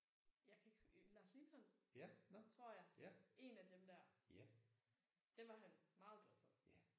Jeg kan ikke øh Lars Lilholt tror jeg. En af dem der. Det var han meget glad for